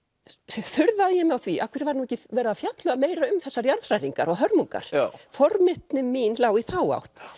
furðaði ég mig á því af hverju væri ekki verið að fjalla meira um þessar jarðhræringar og hörmungar forvitni mín lá í þá átt